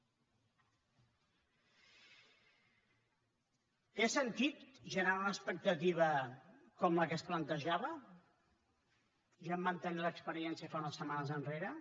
té sentit generar una expectativa com la que es plantejava ja en vam tenir l’experiència fa unes setmanes enrere